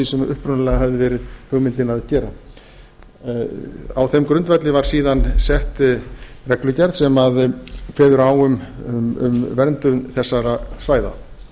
sem upprunalega hafði verið hugmyndin að gera á þeim grundvelli var síðan sett reglugerð sem kveður á um verndun þessara svæða